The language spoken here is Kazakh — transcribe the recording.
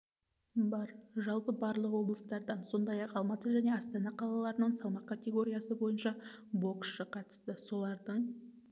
бар жалпы барлық облыстардан сондай-ақ алматы және астана қалаларынан салмақ категориясы бойынша боксшы қатысты солардың